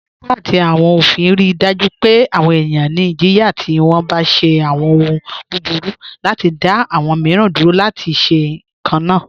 Ọlọpa ati awọn ofin rí daju pẹ̀ awọn ènìyàn ní ìjìyà tí wọ́n bá ṣe awọn òhùn búburú, láti dá awọn míìran dúró láti ṣe kanna.